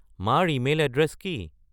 মাৰ email address কি